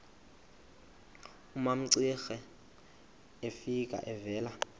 umamcira efika evela